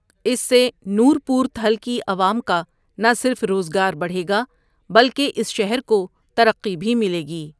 اس سے نورپورتھل کی عوام کا نا صرف روذگار بڑھے گا بلکه اس شہر کو ترقی بهی ملے گی۔